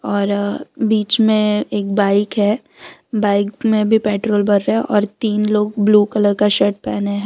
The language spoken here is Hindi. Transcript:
और बीच में एक बाइक है बाइक में भी पेट्रोल भर रहा है और तीन लोग ब्लू कलर का शर्ट पहने हैं।